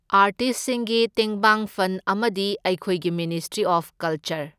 ꯑꯥꯔꯇꯤꯁꯁꯤꯡꯒꯤ ꯇꯦꯡꯕꯥꯡ ꯐꯟ ꯑꯃꯗꯤ ꯑꯩꯈꯣꯏꯒꯤ ꯃꯤꯅꯤꯁꯇ꯭ꯔꯤ ꯑꯣꯐ ꯀꯜꯆꯔ